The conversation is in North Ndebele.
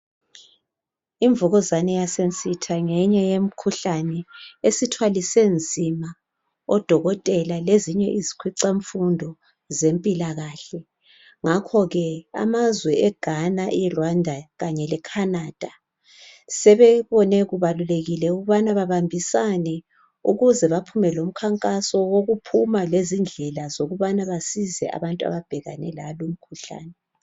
Imvukuzane yasensitha ngeyinye yemikhuhkane esithwalise nzima odokotela lezinye izikhwicamfundo zempilakahle. Ngakho ke amazwe eGhana, iRwanda kanye le Canada sebebone kubalulekile ukubana babambisane ukuze baphume lomkhankaso wokuphuma lezindlela sokuba basize abantu ababhekane lalu mkhuhlane.